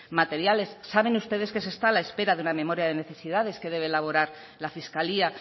materiales saben ustedes que se está a la espera de una memoria de necesidades que debe elaborar la fiscalía